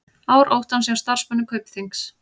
Ár óttans hjá starfsmönnum Kaupþings